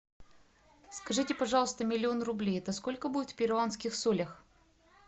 скажите пожалуйста миллион рублей это сколько будет в перуанских солях